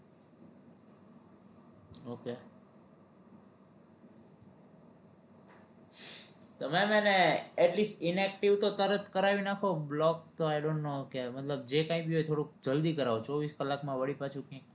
તો ma'am એને atleast inactive તો તરત કરાવી નાખો block તો I don't know કે મતલબ જે કાઈ ભી હોય થોડુક જલ્દી કરાવજો ચોવીસ કલાક માં વળી પાછું કયાંક